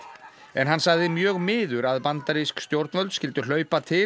en hann sagði mjög miður að bandarísk stjórnvöld skyldu hlaupa til